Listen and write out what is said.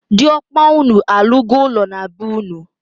Di okpa unu alu go ulo na bee-unu?